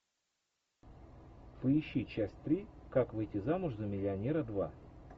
поищи часть три как выйти замуж за миллионера два